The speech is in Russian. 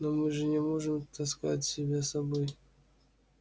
но мы же не можем таскать тебя с собой